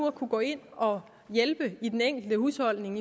at gå ind og hjælpe i den enkelte husholdning